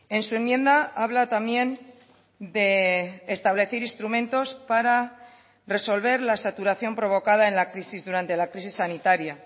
en su enmienda habla también de establecer instrumentos para resolver la saturación provocada en la crisis durante la crisis sanitaria